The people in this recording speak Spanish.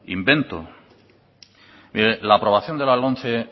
invento mire la aprobación de la lomce